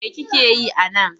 Me kike yi a nan?